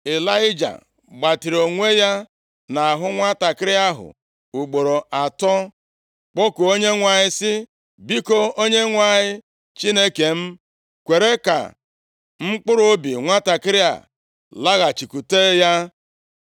Ịlaịja gbatịrị onwe ya nʼahụ nwantakịrị ahụ ugboro atọ, kpọkuo Onyenwe anyị, sị, “Biko, Onyenwe anyị Chineke m, kwere ka mkpụrụobi nwantakịrị a laghachikwute ya.”